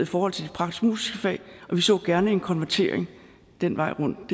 forhold til de praktisk musiske fag vi så gerne en konvertering den vej rundt